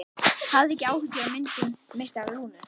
Hafið ekki áhyggjur af myndum meistara Lúnu.